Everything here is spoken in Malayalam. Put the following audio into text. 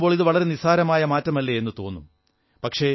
നോക്കുമ്പോൾ ഇതു വളരെ നിസ്സാരമായ മാറ്റമല്ലേ എന്നു തോന്നും